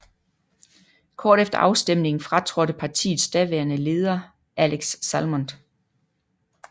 Kort efter afstemningen fratrådte partiets daværende leder Alex Salmond